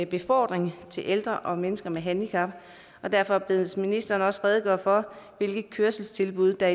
befordring af ældre og mennesker med handicap og derfor bedes ministeren også redegøre for hvilke kørselstilbud der